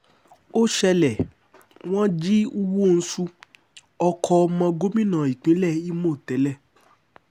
ó ṣẹlẹ̀ wọ́n jí nwosu ọkọ̀ ọmọ gómìnà ìpínlẹ̀ ìmọ̀ tẹ́lẹ̀